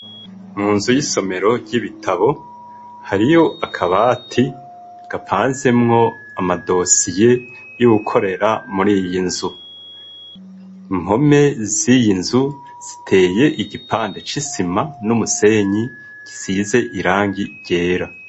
Mu nzu y'isomero ry'ibitabo hariyo akabati gapanzemwo amadosiye y'uwukorera muri iyi nzu. Impome z'iyi nzu ziteye igipande c'isima n'umusenyi gisize irangi ryera.